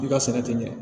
I ka sɛnɛ tɛ ɲɛ